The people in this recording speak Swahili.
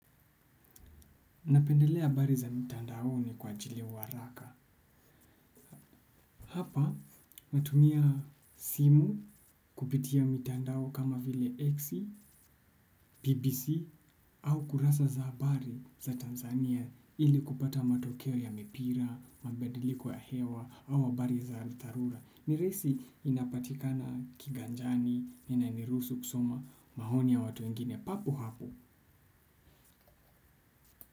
Napendelea habari za mitandaoni kwa ajili wa haraka. Hapa natumia simu kupitia mitandao kama vile X, BBC au kurasa za habari za Tanzania ili kupata matokeo ya mipira, mabadiliko ya hewa au habari za kidharura. Ni rahisi inapatikana kiganjani, inaniruhusu kusoma, maoni ya watu wengine, papo hapo.